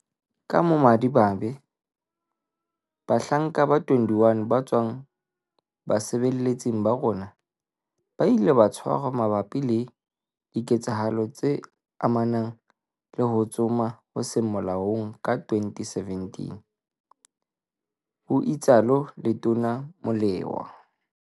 "Ka bomadimabe, bahlanka ba 21 ba tswang basebeletsing ba rona, ba ile ba tshwarwa mabapi le diketsahalo tse amanang le ho tsoma ho seng molaong ka 2017," ho itsalo Letona Molewa.